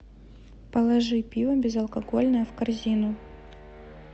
положи пиво безалкогольное в корзину